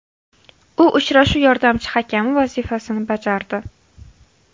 U uchrashuv yordamchi hakami vazifasini bajardi.